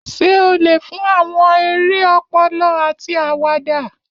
Ṣé o lè fún àwọn eré ọpọlọ àti àwàdà?